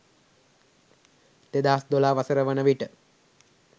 2012 වසර වන විට